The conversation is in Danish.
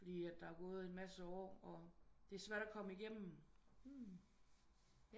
Fordi der er gået en masse år og det er svært at komme igennem